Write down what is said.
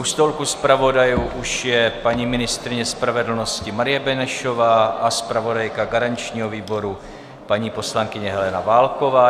U stolku zpravodajů už je paní ministryně spravedlnosti Marie Benešová a zpravodajka garančního výboru paní poslankyně Helena Válková.